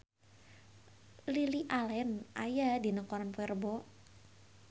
Lily Allen aya dina koran poe Rebo